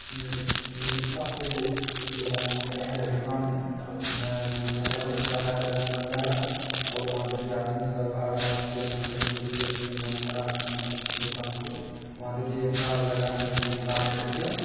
अ रिक्शा पे जो है मनिहारा का दुकान है मनिहारा बेच रहा है| मनिहारा और वहाँ देखिए आदमी सब आ रहा है इसको खरीदने के लिए मनिहरा दुकान से वहाँ देखिए एक कार लगा है अ लाल में से |